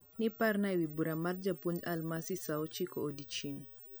niiparna ewi bura mar japounj alimasi saa ochiko odieching